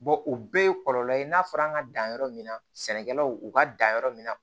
u bɛɛ ye kɔlɔlɔ ye n'a fɔra an ka dan yɔrɔ min na sɛnɛkɛlaw u ka dan yɔrɔ min na